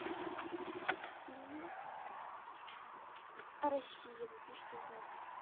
фильмы о россии две тысячи девятнадцать